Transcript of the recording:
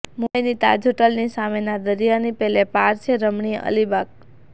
મુંબઈની તાજહોટલની સામેના દરિયાની પેલે પાર છે રમણીય અલીબાગ